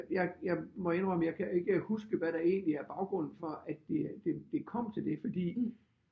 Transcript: Jeg jeg må indrømme jeg kan ikke huske hvad der egentlig er baggrund for at det det det kom til det fordi